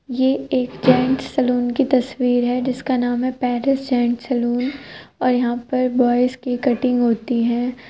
ये एक gents saloon कि तस्वीर है जिसका नाम है पेरिस जेंट्स सलून और यहाँ पर बॉयज की कटिंग होती है।